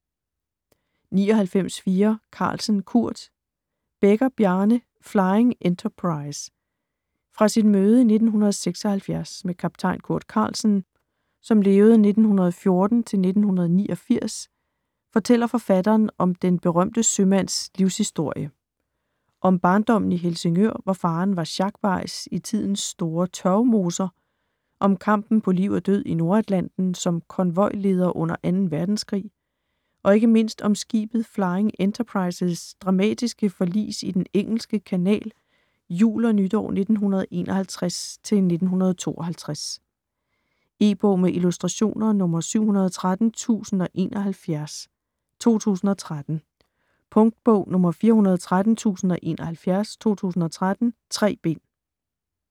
99.4 Carlsen, Kurt Bekker, Bjarne: Flying Enterprise Fra sit møde i 1976 med kaptajn Kurt Carlsen (1914-1989) fortæller forfatteren om den berømte sømands livshistorie. Om barndommen i Helsingør, hvor faderen var sjakbajs i tidens store tørvemoser, om kampen på liv og død i Nordatlanten som konvojleder under 2. verdenskrig, og ikke mindst om skibet Flying Enterprise's dramatiske forlis i den engelske kanal jul og nytår 1951-1952. E-bog med illustrationer 713071 2013. Punktbog 413071 2013. 3 bind.